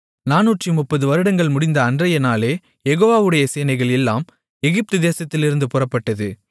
நானூற்றுமுப்பது வருடங்கள் முடிந்த அன்றைய நாளே யெகோவாவுடைய சேனைகள் எல்லாம் எகிப்து தேசத்திலிருந்து புறப்பட்டது